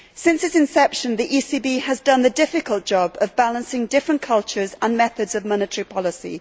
Since its inception, the ECB has done the difficult job of balancing different cultures and methods of monetary policy.